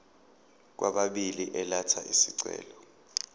kwababili elatha isicelo